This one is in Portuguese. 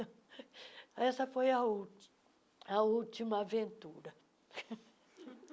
Essa foi a última a última aventura.